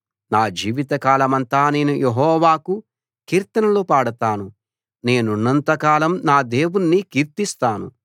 నా జీవితకాలమంతా నేను యెహోవాకు కీర్తనలు పాడతాను నేనున్నంత కాలం నా దేవుణ్ణి కీర్తిస్తాను